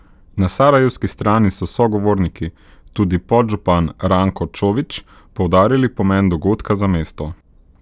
Na sarajevski strani so sogovorniki, tudi podžupan Ranko Čović, poudarili pomen dogodka za mesto.